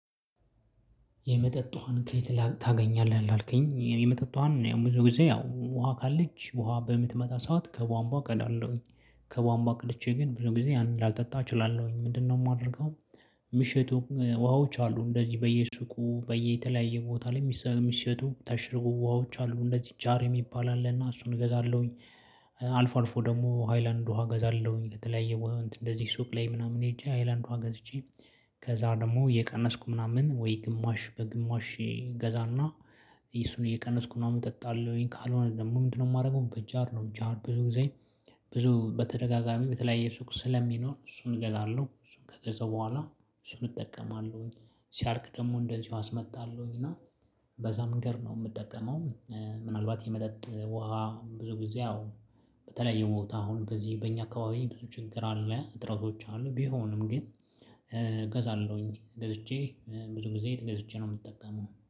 የመጠጥ ውሃን ከየት ታገኛለህ ላልከኝ የመጠጥ ውሃን ብዙ ጊዜ ያው ውሃ ካለች ውሃ በምትመጣ ሰዓት ከቧንቧ ቀዳለሁኝ። ከቧንቧ ቀድቼ ግን ብዙ ጊዜ ላልጠጣ እችላለሁኝ ምንድነው ማደርገው? የሚሸጡ ውሃዎች አሉ እንደዚህ በየሱቁ በየተለያየ ቦታ ላይ የሚሸቱ የታሸጉ ውሃዎች አሉ እንደዚህ ጃር የሚባል አለ እና እሱን እገዛለሁኝ። አልፎ አልፎ ደግሞ ሃይላንድ ውሃ እገዛለሁኝ ከተለያየ ወሃ እንደዚህ ሱቅ ላይ ምናምን ሄጄ ሃይላንድ ውሃ ገዝቼ። ከዛ ደግሞ እየቀነስኩ ምናምን ወይ ግማሽ በግማሽ ገዛና። እሱን እየቀነስኩ ምናምን እጠጣለሁኝ። ካልሆነ ደግሞ ምንድነው የማረገው በጃር ነው ጃር ብዙ ጊዜ። ብዙ በተደጋጋሚ በተለያየ ሱቅ ስለሚኖር እሱን እገዛለሁ እሱን ከገዛው በኋላ እሱን እጠቀማለሁኝ። ሲያርቅ ደግሞ እንደዚሁ አስመጣለሁኝ እና። በዛ መንገድ ነው የምጠቀመው። ምናልባት የመጠጥ ውሃ ብዙ ጊዜ አሁን። በተለያዩ ቦታ አሁን በዚህ በእኛ አካባቢ ብዙ ችግር አለ እጥሮች አሉ ቢሆንም ግን። እገዛለሁኝ ገዝቼ ብዙ ጊዜ ገዝቼ ነው የምጠቀመው